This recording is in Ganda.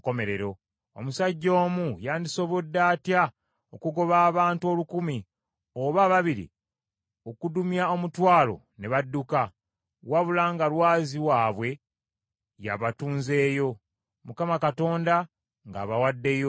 Omusajja omu yandisobodde atya okugoba abantu olukumi, oba ababiri okudumya omutwalo ne badduka, wabula nga Lwazi waabwe y’abatunzeeyo, Mukama Katonda ng’abawaddeyo?